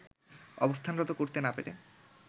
অবস্থানরত করতে না পারে